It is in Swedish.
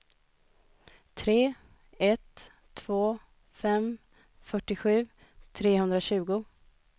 tre ett två fem fyrtiosju trehundratjugo